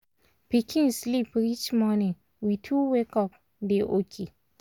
pikin sleep reach morning we two wake up dey okay